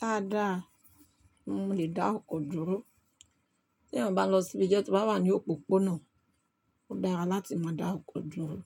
Dáadáa, mo lè dá ọkọ̀ dúró. Tí eeyan bá n lọ síbi isẹ tó bá wà ní òpópónà, ó dára láti máa dá ọkọ̀ dúró,